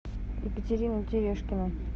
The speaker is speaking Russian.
екатерина терешкина